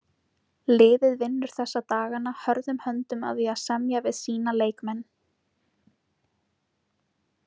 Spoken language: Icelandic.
Liðið vinnur þessa dagana hörðum höndum að því að semja við sína leikmenn.